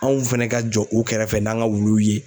Anw fɛnɛ ka jɔ u kɛrɛfɛ n'an ŋa wuluw ye